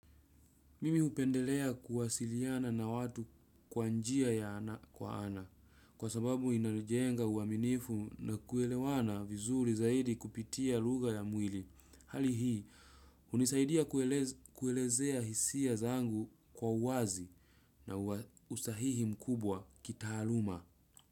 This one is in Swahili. Mimi hupendelea kuwasiliana na watu kwa njia ya ana kwa ana kwa sababu inalijenga uaminifu na kuelewana vizuri zaidi kupitia lugha ya mwili. Hali hii hunisaidia kuelezea hisia zangu kwa wazi na usahihi mkubwa kitaaluma.